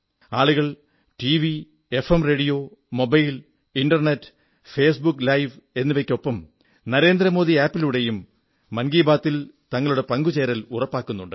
ആളുകൾ TV FM rodeo mobile internet Facebook live എന്നിവയ്ക്കൊപ്പം Narendra Modi app ലുടെയും മൻകീ ബാതിൽ തങ്ങളുടെ പങ്കുചേരൽ ഉറപ്പാക്കുന്നുണ്ട്